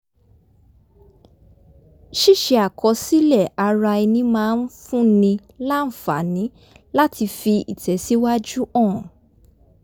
ṣíṣe àkọsílẹ̀ ara ẹni máa ń fúnni láǹfààní láti fi ìtẹ̀síwájú hàn